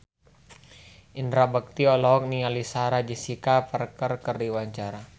Indra Bekti olohok ningali Sarah Jessica Parker keur diwawancara